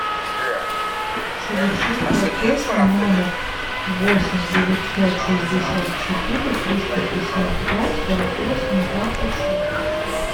совершить платеж на номер восемь девятьсот шестьдесят четыре триста пятьдесят два сорок восемь двадцать шесть